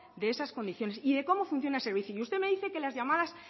de esas condiciones y de cómo funciona el servicio usted me dice que las llamadas